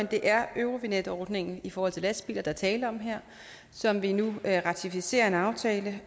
det er eurovignette ordningen i forhold til lastbiler der er tale om her som vi nu ratificerer en aftale